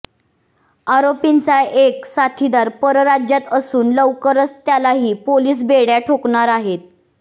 आरोपींचा एक साथीदार परराज्यात असून लवकरच त्यालाही पोलीस बेड्या ठोकणार आहेत